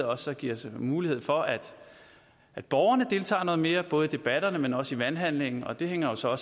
også giver mulighed for at at borgerne deltager noget mere både i debatterne men også i valghandlingen og det hænger jo så